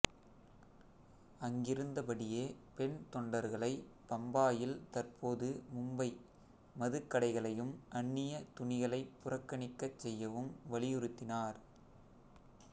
அங்கிருந்தபடியே பெண் தொண்டர்களைப் பம்பாயில் தற்போது மும்பை மதுக் கடைகளையும் அந்நியத் துணிகளைப் புறக்கணிக்கச் செய்யவும் வலியுறுத்தினார்